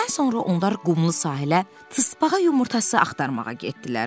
Nahardan sonra onlar qumlu sahilə tısbağa yumurtası axtarmağa getdilər.